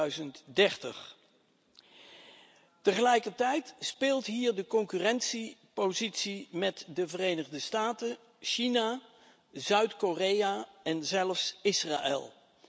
2030. Tegelijkertijd speelt hier de concurrentiepositie met de Verenigde Staten, China, Zuid Korea en zelfs Israël.